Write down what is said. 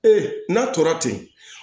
n'a tora ten